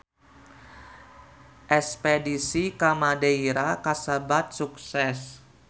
Espedisi ka Madeira kasebat sukses